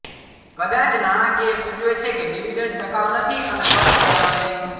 કદાચ નાણાકીય સૂચવે છે કે ડિવિડન્ડ ટકાઉ નથી અને કટ કરવાની રહેશે